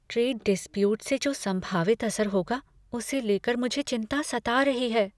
Trade dispute से जो संभावित असर होगा, उसे लेकर मुझे चिंता सता रही है।